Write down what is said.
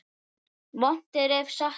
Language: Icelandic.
Vont er ef satt er.